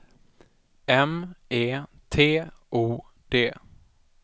M E T O D